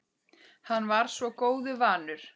Hann var svo góðu vanur.